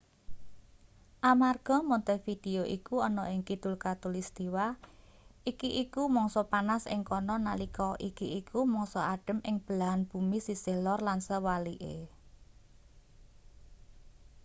amarga montevideo iku ana ing kidul khatulistiwa iki iku mangsa panas ing kana nalika iki iku mangsa adhem ing belahan bumi sisih lor lan sewalike